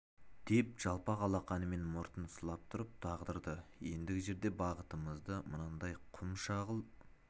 деп жалпақ алақанымен мұртын сылап тұрып дағдарды ендігі жерде бағытымызда мынандай құм шағыл